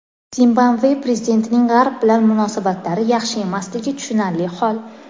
Zimbabve prezidentining G‘arb bilan munosabatlari yaxshi emasligi tushunarli hol.